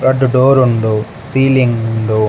ರಡ್ಡ್ ಡೋರ್ ಉಂಡು ಸೀಲಿಂಗ್ ಉಂಡು.